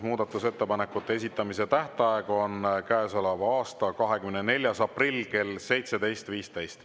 Muudatusettepanekute esitamise tähtaeg on käesoleva aasta 24. aprill kell 17.15.